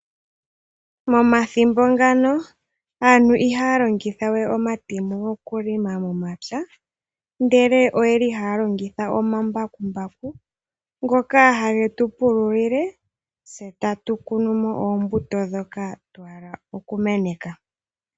Momathimbo ngano aantu ihaya longitha we omatemo okulonga momapya ndele, oyeli haya longitha omambakumbaku ngoka hage tu pululile tse tatu kunu mo oombuto dhoka twahaka okumeneka.